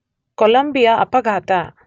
Columbia ಅಪಘಾತ